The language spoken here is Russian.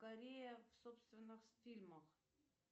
корея в собственных фильмах